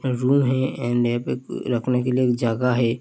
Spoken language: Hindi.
रूम है एण्ड यहाँ पे रखने के लिए जगह है।